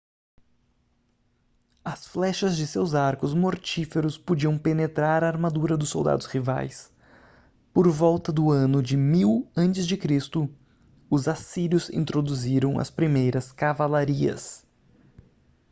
as flechas de seus arcos mortíferos podiam penetrar a armadura dos soldados rivais por volta do ano 1000 a.c. os assírios introduziram as primeiras cavalarias